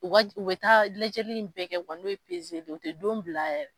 U ka ubɛ taa lajɛli bɛɛ kɛ, wa n'u peseli u tɛ don bila yɛrɛ.